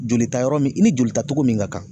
Jolita yɔrɔ min i ni joli ta cogo min ka kan